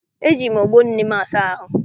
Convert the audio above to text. Eji m ogbo nne m asa ahụ.